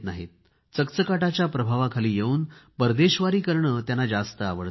मात्र चकचकाटाच्या प्रभावाखाली येऊन परदेशवारी करणे त्यांना जास्त आवडते